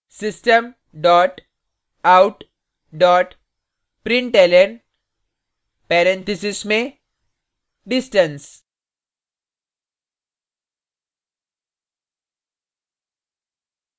system dot out dot println parentheses में distance